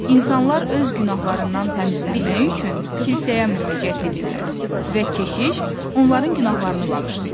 İnsanlar öz günahlarından təmizlənmək üçün kilsəyə müraciət edirlər və keşiş onların günahlarını bağışlayır.